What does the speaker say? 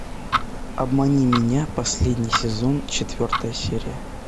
обмани меня последний сезон четвертая серия